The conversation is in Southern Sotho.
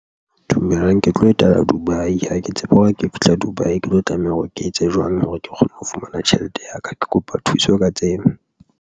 Dumelang ke tlo etela Dubai, ha ke tsebe hore ha ke fihla Dubai, ke tlo tlameha hore ke etse jwang hore ke kgone ho fumana tjhelete ya ka, ke kopa thuso ka tsebo.